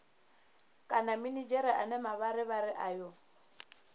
kana minidzhere ane mavharivhari ayo